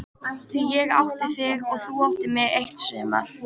Því ég átti þig og þú áttir mig eitt sumar.